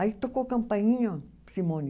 Aí tocou campainha, Simone.